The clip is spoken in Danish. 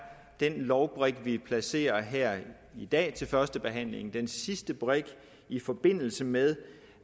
den lovbrik vi placerer her i dag til første behandling den sidste brik i forbindelse med